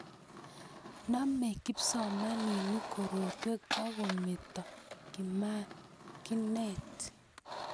namei kipsomaninik korotwek otkemeto komakinat